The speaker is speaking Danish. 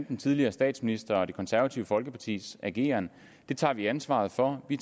den tidligere statsministers og det konservative folkepartis ageren og det tager vi ansvaret for vi